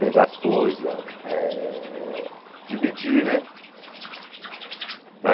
Pegar as coisas, eh dividir, né?